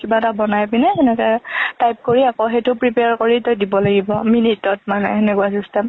কিবা এটা বনায় পিনে সেনেকে type কৰি, আকৌ সেইটো prepare কৰি তই দিব লাগিব minute অত মানে সেনেকুৱা system।